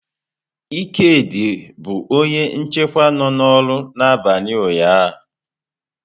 Ikedi bụ onye nchekwa nọ n'ọrụ n'abalị ụnyaahụ.